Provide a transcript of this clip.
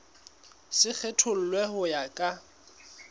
se kgethollwe ho ya ka